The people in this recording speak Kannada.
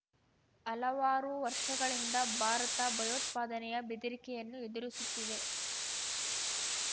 ಹಲವಾರು ವರ್ಷಗಳಿಂದ ಭಾರತ ಭಯೋತ್ಪಾದನೆಯ ಬೆದರಿಕೆಯನ್ನು ಎದುರಿಸುತ್ತಿದೆ